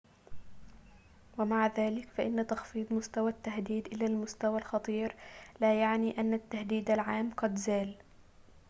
ومع ذلك فإن تخفيض مستوى التهديد إلى المستوى الخطير لا يعني أن التهديد العام قد زال